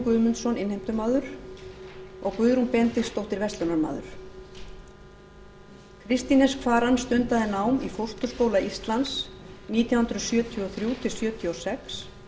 guðmundsson innheimtumaður og guðrún benediktsdóttir verslunarmaður kristín s kvaran stundaði nám í fósturskóla íslands nítján hundruð sjötíu og þrjú til nítján hundruð sjötíu og sex